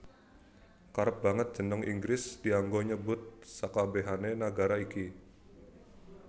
Kerep banget jeneng Inggris dianggo nyebut sakabèhané nagara iki